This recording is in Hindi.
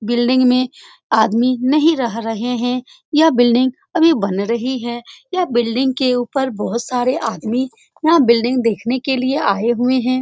बिल्डिंग में आदमी नहीं रह रहे हैं यह बिल्डिंग अभी बन रही है यह बिल्डिंग के ऊपर बहुत सारे आदमी यहाँ बिल्डिंग देखने के लिए आए हुए हैं।